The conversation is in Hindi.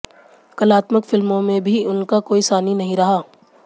कलात्मक फिल्मों में भी उनका कोई सानी नहीं रहा